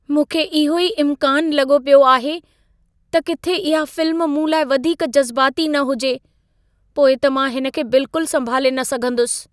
मूंखे इहो ई इम्कानु लॻो पियो आहे त किथे इहा फ़िल्म मूं लाइ वधीक जज़बाती न हुजे, पोइ त मां हिन खे बिल्किलु संभाले न सघंदुसि।